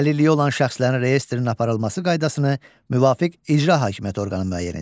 Əlilliyi olan şəxslərin reyestrinin aparılması qaydasını müvafiq icra hakimiyyəti orqanı müəyyən edir.